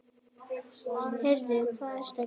Heyrðu. hvað ertu að gera?